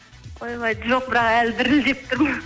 ойбай жоқ бірақ әлі дірілдеп тұрмын